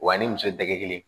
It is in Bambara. Wa ni muso tɛgɛ kelen